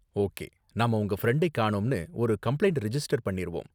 okay, நாம உங்க ஃப்ரெண்டை காணோம்னு ஒரு கம்ப்ளைண்ட் ரிஜிஸ்டர் பண்ணிருவோம்